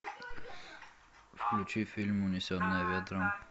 включи фильм унесенные ветром